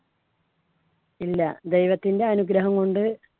ഇല്ല ദൈവത്തിൻടെ അനുഗ്രഹം കൊണ്ട്